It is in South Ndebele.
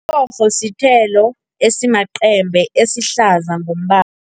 Umrorho sithelo esimacembe esihlaza ngombala.